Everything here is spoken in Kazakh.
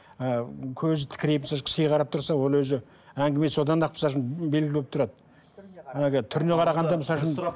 ы көзі тікірейіп кісіге қарап тұрса ол өзі әңгімесі одан ақ белгілі болып тұрады әлгі түріне қарағанда